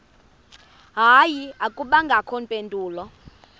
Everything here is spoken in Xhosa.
hayi akubangakho mpendulo